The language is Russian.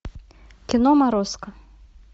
кино морозко